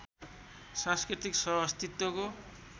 सांस्कृतिक सह अस्तित्वको